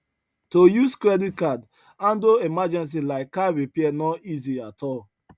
to use credit card handle emergency like car repair no easy at all